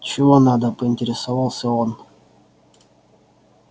чего надо поинтересовался он